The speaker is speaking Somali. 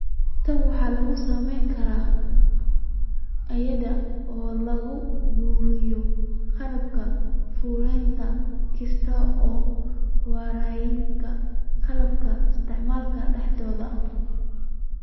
Tan waxaa lagu samayn karaa iyada oo la abuurayo qaabka fulinta kaas oo ku wareegaya qalabka isticmaala dhexdooda.